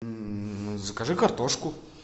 закажи картошку